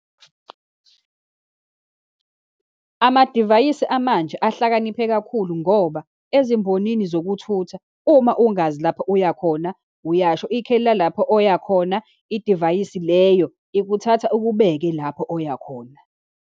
Amadivayisi amanje ahlakaniphe kakhulu, ngoba ezimbonini zokuthutha uma ungazi lapho uyakhona, uyasho ikheli lalapho oyakhona, idivayisi leyo ikuthatha ukubeke lapho oyakhona.